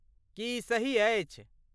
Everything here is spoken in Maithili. की ई सही अछि?